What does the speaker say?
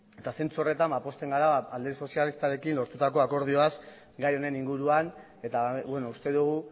eta zentzu horretan pozten gara alderdi sozialistarekin lortutako akordioaz gai honen inguruan eta uste dugu